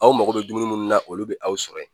Aw mago be dumuni munnu na olu be aw sɔrɔ yen